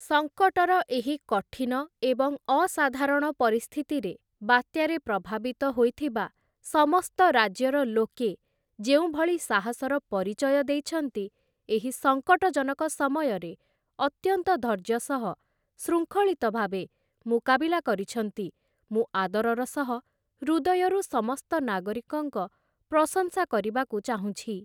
ସଙ୍କଟର ଏହି କଠିନ ଏବଂ ଅସାଧାରଣ ପରିସ୍ଥିତିରେ ବାତ୍ୟାରେ ପ୍ରଭାବିତ ହୋଇଥିବା ସମସ୍ତ ରାଜ୍ୟର ଲୋକେ ଯେଉଁଭଳି ସାହସର ପରିଚୟ ଦେଇଛନ୍ତି, ଏହି ସଙ୍କଟଜନକ ସମୟରେ ଅତ୍ୟନ୍ତ ଧୈର୍ଯ୍ୟ ସହ, ଶୃଙ୍ଖଳିତ ଭାବେ ମୁକାବିଲା କରିଛନ୍ତି ମୁଁ ଆଦରର ସହ, ହୃଦୟରୁ ସମସ୍ତ ନାଗରିକଙ୍କ ପ୍ରଶଂସା କରିବାକୁ ଚାହୁଁଛି ।